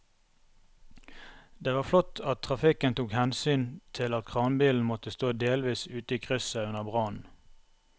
Det var flott at trafikken tok hensyn til at kranbilen måtte stå delvis ute i krysset under brannen.